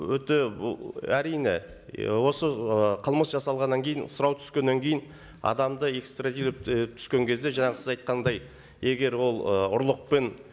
өте бұл әрине осы ы қылмыс жасалғаннан кейін сұрау түскеннен кейін адамды і түскен кезде жаңағы сіз айтқандай егер ол ы ұрлықпен